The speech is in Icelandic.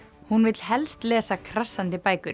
hún vill helst lesa krassandi bækur